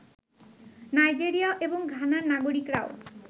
Nigeria এবং ঘানার নাগরিকরাও